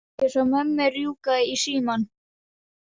Ég sá mömmu rjúka í símann.